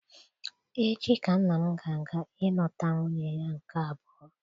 Echi ka nna m ga-aga ilụta nwunye ya nke abụọ